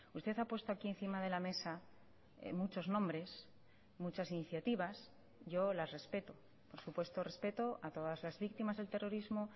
usted ha puesto aquí encima de la mesa muchos nombres muchas iniciativas yo las respeto por supuesto respeto a todas las víctimas del terrorismo